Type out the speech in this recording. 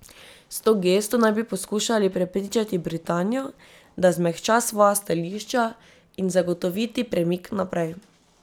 S to gesto naj bi poskušali prepričati Britanijo, da zmehča svoja stališča, in zagotoviti premik naprej.